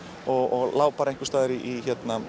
og lá einhvers staðar í